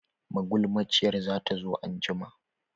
Magulmaciyar zata zo anjima.